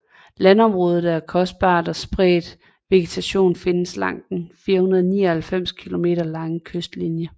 Landområdet er dyrkbart og spredt vegetation findes langs den 499 km lange kystlinje